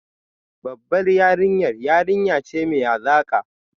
Babbar yarinya yarinya ce mai hazaka